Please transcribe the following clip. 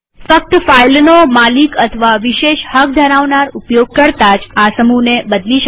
ફક્ત ફાઈલનો માલિક અથવા વિશેષ હક ધરાવનાર ઉપયોગકર્તા જ આ સમૂહને બદલી શકે છે